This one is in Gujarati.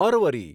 અરવરી